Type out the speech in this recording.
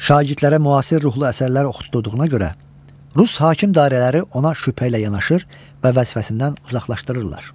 Şagirdlərə müasir ruhlu əsərlər oxutdurduğuna görə Rus hakim dairələri ona şübhə ilə yanaşır və vəzifəsindən uzaqlaşdırırlar.